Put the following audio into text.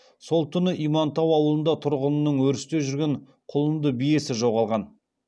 сол түні имантау ауылында тұрғынның өрісте жүрген құлынды биесі жоғалған